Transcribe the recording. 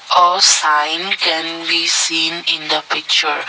A sign can be seen in the picture.